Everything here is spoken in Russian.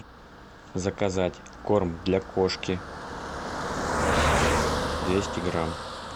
заказать корм для кошки двести грамм